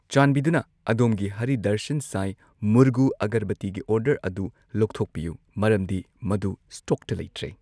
ꯆꯥꯟꯕꯤꯗꯨꯅ ꯑꯗꯣꯝꯒꯤ ꯍꯥꯔꯤ ꯗꯔꯁꯟ ꯁꯥꯏ ꯃꯨꯔꯒꯨ ꯑꯒꯔꯕꯇꯤꯒꯤ ꯑꯣꯔꯗꯔ ꯑꯗꯨ ꯂꯧꯊꯣꯛꯄꯤꯌꯨ ꯃꯔꯝꯗꯤ ꯃꯗꯨ ꯁ꯭ꯇꯣꯛꯇ ꯂꯩꯇ꯭ꯔꯦ